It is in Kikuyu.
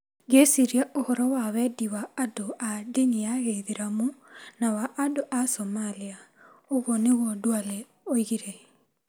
ngĩciiria ũhoro wa wendi wa andũ a ndini ya Gĩithĩramu na wa andũ a Somalia. Ũguo nĩguo Duale oigire.